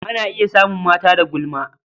A na iya samun mata da gulma.